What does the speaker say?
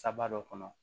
Saba dɔ kɔnɔ